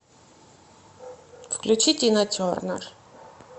включи тина тернер